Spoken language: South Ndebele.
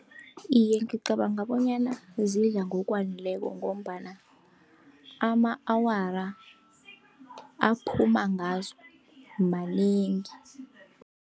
Iye, ngicabanga bonyana zidla ngokwaneleko, ngombana ama-awara aphuma ngazo manengi.